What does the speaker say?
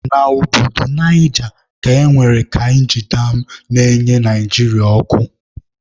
Na Obodo Naija ka e nwere kainji dam na-enye Naịjirịa ọkụ.